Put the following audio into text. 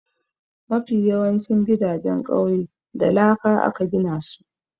Mafi yawancin gidajen ƙauye da laka aka gina su.